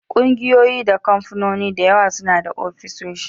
Ƙungiyoyi da kamfanoni da yawa suna da ofisoshi